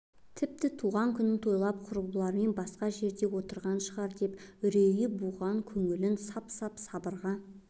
тіпті туған күнін тойлап құрбыларымен басқа жерде отырған шығар деп үрейі буған көңілін сап-сап сабырға